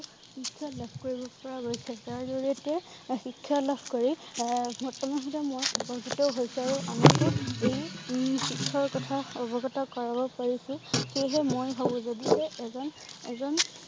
শিক্ষা লাভ কৰিব পৰা গৈছে। তাৰ জৰিয়তে শিক্ষা লাভ কৰি আহ বৰ্তমান সময়ত মই আকৰ্ষিত হৈছোঁ আৰু এই উম শিক্ষাৰ কথা অৱগত কৰাব পৰিছোঁ। সেয়েহে মই হয় যদিহে এজন এজন